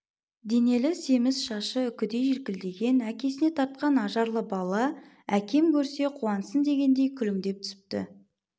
денелі семіз шашы үкідей желкілдеген әкесіне тартқан ажарлы бала әкем көрсе қуансын дегендей күлімдеп түсіпті